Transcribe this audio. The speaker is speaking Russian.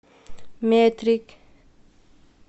метрик